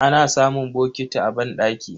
Ana samun bokiti a banɗaki.